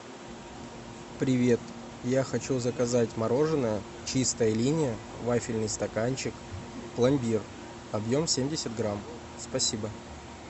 привет я хочу заказать мороженое чистая линия вафельный стаканчик пломбир объем семьдесят грамм спасибо